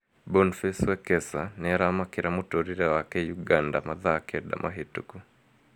Boniface Wekesa nĩaramakĩra mũtũrĩre wake Uganda mathaa kenda mahĩtũku